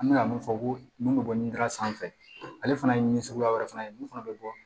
An bɛka mun fɔ ko mun bɛ bɔ nin da sanfɛ ale fana ye ni suguya wɛrɛ fana ye mun fana bɛ bɔ